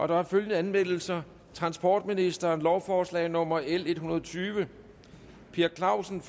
der er følgende anmeldelser transportministeren lovforslag nummer l en hundrede og tyve per clausen